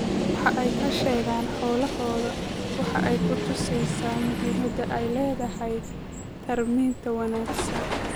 Waxa ay ka sheegaan xoolahooda waxa ay ku tusaysaa muhiimadda ay leedahay tarminta wanaagsan.